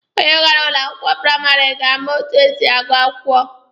Onye gara ụlọ akwụkwọ praịmarị ga-ama etu esi agụ akwụkwọ.